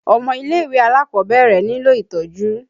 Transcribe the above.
Ọmọ ilé-ìwé alákọ̀ọ́bẹ̀rẹ̀ nílò itọ́jú.